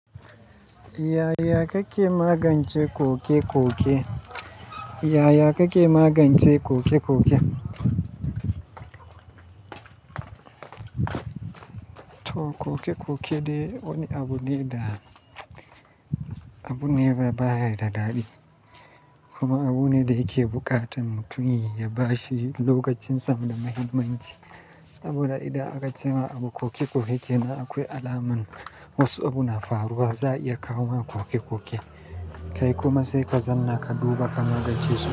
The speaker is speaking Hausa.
Yaya kake magance ƙoke-ƙoke? Yaya kake magance ƙoke-ƙoke? To ƙoke-ƙoke dai wani abu ne da, abu ne baya da daɗi. Kuma abu ne da yake buƙatan mutum ya bashi lokacin sam da mahimmanci. Saboda idan aka ce ma abu ƙoke-ƙoke kenan akwai alamun wasu abu na faruwa, za a iya kawo ma ƙoke-ƙoke. Kai kuma sai ka zanna ka duba ka magance su.